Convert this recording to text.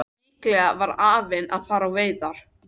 Líklega var afinn að fara á veiðar.